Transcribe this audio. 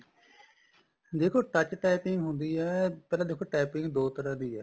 ਦੇਖੋ touch typing ਹੁੰਦੀ ਏ ਪਹਿਲਾਂ ਦੇਖੋ typing ਦੋ ਤਰ੍ਹਾਂ ਦੀ ਏ